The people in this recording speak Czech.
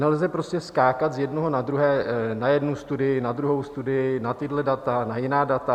Nelze prostě skákat z jednoho na druhé, na jednu studii, na druhou studii, na tahle data, na jiná data.